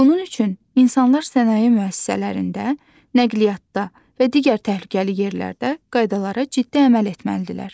Bunun üçün insanlar sənaye müəssisələrində, nəqliyyatda və digər təhlükəli yerlərdə qaydalara ciddi əməl etməlidirlər.